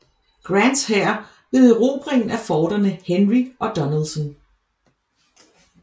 Grants hær ved erobringen af forterne Henry og Donelson